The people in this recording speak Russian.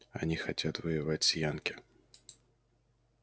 они хотят воевать с янки